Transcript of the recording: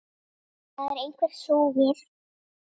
Það er einhver súgur.